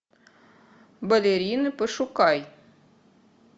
балерина пошукай